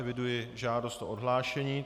Eviduji žádost o odhlášení.